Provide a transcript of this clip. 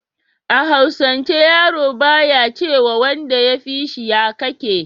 a hausance yaro ba ya ce ma wanda ya fishi "ya kake"